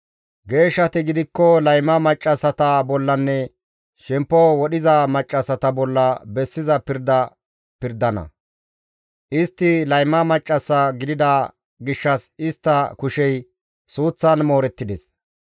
Geeshshati gidikko layma maccassata bollanne shemppo wodhiza maccassata bolla bessiza pirda pirdana; istti layma maccas gidida gishshas istta kushey suuththan moorettides.